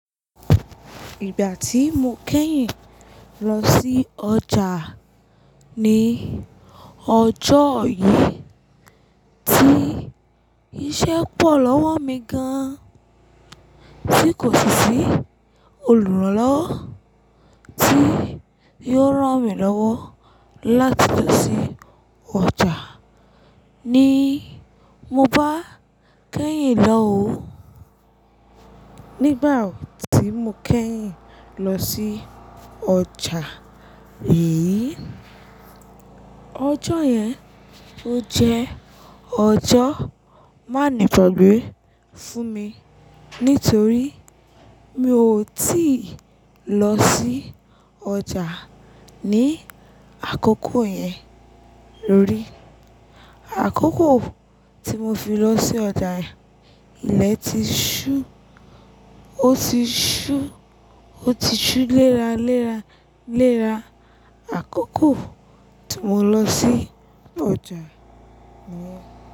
Ìgbà tí mo kẹ́yìn lọ sí ọjà ní ọjọ́ yìí, tí iṣẹ́ pọ̀ lọ́wọ́ mi gan-an, tí kò sí sí olùrànlọ́wọ́ tí yóò rán mi lọ́wọ́ láti lọ sí ọjà ní mo bá kẹ́yìn lọ ò ó. Nígbà tí mo kẹ́yìn lọ sí ọjà yìí, ọjọ́ yẹn ó jẹ́ ọjọ́ má nigbagbe fún mi nítorí mi ò tíì lọ sí ọjà ní àkókò yẹn lórí. Àkókò tí mo fi lọ sí ọjà ilẹ́ tí ṣu, ó ti ṣú, ó ti ṣú léra, léra, léra. Àkókò tí mo lọ sí ọjà yẹn.